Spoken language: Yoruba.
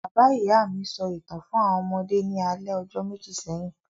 Bàbá-ìyá mi sọ ìtàn fún àwọn ọmọdé ní alẹ́ ọjọ́ méjì sẹ́yìn.